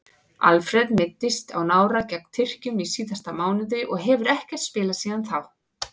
Alfreð meiddist á nára gegn Tyrkjum í síðasta mánuði og hefur ekkert spilað síðan þá.